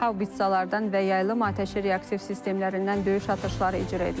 Haubitsalardan və yaylım atəşi reaktiv sistemlərindən döyüş atışları icra edilib.